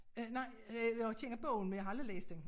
Øh nej jo jeg kender bogen men jeg har aldrig læst den